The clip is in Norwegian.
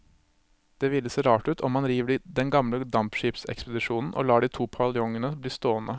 Det ville se rart ut om man river den gamle dampskipsekspedisjonen og lar de to paviljongene bli stående.